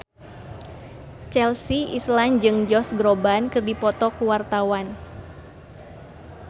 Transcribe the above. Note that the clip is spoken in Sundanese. Chelsea Islan jeung Josh Groban keur dipoto ku wartawan